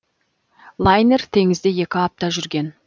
лайнер теңізде екі апта жүрген